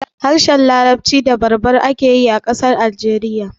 Harshen larabci da berber ake yi a ƙasar Algeriya